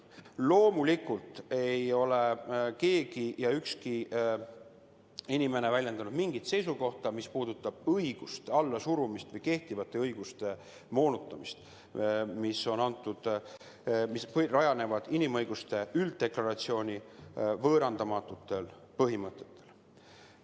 Loomulikult ei ole keegi, ükski inimene väljendanud mingit seisukohta, mis pooldaks selliste õiguste allasurumist või kehtivate õiguste moonutamist, mis rajanevad inimõiguste ülddeklaratsiooni võõrandamatutel põhimõtetel.